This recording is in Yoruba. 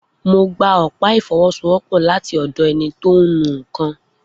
Mo gba ọ̀pá ìfọwọ́sowọ́pọ̀ láti ọ̀dọ̀ ẹni tó ń nu nkan.